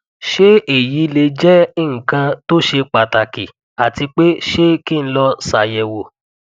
ṣe eyi le jẹ nkan to ṣe pataki ati pe ṣé ki n lọ ṣayẹwo